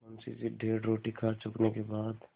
मुंशी जी डेढ़ रोटी खा चुकने के बाद